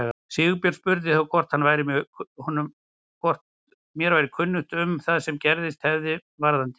Sigurbjörn spurði þá hvort mér væri ekki kunnugt um það sem gerst hefði varðandi